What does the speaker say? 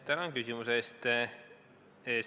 Tänan küsimuse eest!